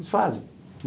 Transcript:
Eles fazem.